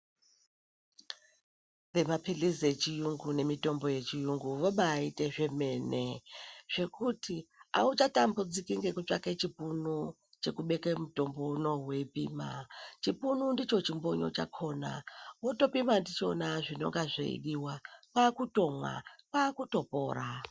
Vemapilizi echiyungu nemitombo yechiyungu vobaite zvemene zvokuti auchatambudziki ngekutsvake chipunu chekubeke mutombo unoo weipima chipunu ndicho chimbonyo chakona wotopima ndichona zvinonga zveidiwa kwakutomwa kwakutopora.